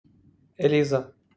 лиза